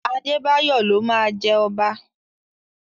Adébáyọ̀ ló máa jẹ ọba.